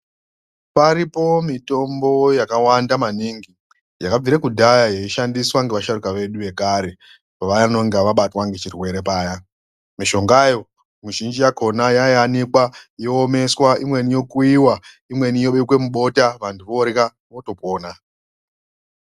Paripo mitombo yakawanda maningi yakabvire kudhaya yeishandiswa nevasharuka vedu vekare pavanonga vabatwa ngechirwere paya. Mishongayo mizhinji yakona yaiyani yoomeswa imweni yokuiva, imweni yobekwe mubota vantu vorya votopona.